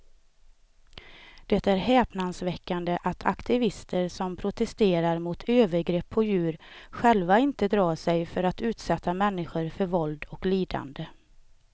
Det är häpnadsväckande att aktivister som protesterar mot övergrepp på djur själva inte drar sig för att utsätta människor för våld och lidande.